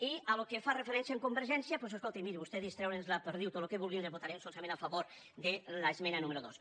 i pel que fa referència a convergència doncs escolti miri vostè distregui’ns la perdiu tot el que vulguin votarem solament a favor de l’esmena número dos